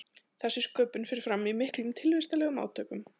þessi sköpun fer fram í miklum tilvistarlegum átökum